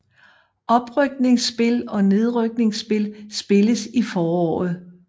Oprykningsspil og nedrykningsspil spilles i foråret